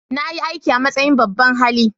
Na yi aiki a matsayin babban hali.